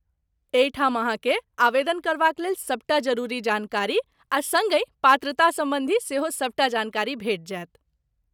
एहिठाम अहाँकेँ आवेदन करबाक लेल सबटा जरूरी जानकारी आ सङ्गहि पात्रता सम्बन्धी सेहो सबटा जानकारी भेट जायत।